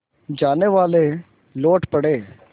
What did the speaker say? जानेवाले लौट पड़े